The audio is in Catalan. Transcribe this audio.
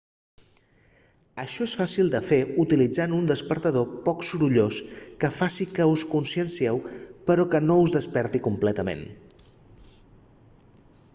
això és fàcil de fer utilitzant un despertador poc sorollós que faci que us consciencieu però que no us desperti completament